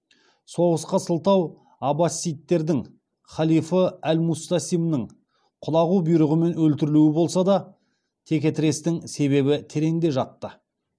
соғысқа сылтау аббасидтердің халифы әл мустасимнің құлағу бұйрығымен өлтірілуі болса да текетірестің себебі тереңде жатты